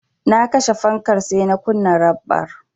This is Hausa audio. Na kashe fankar sai na kunna raɓar.